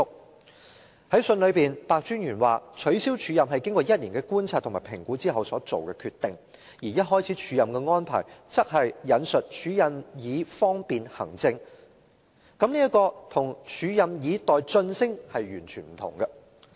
白專員在信中表示，取消署任是經過1年的觀察和評估之後所作的決定，而一開始署任的安排則是署任以方便行政，這與署任以待晉升完全不同。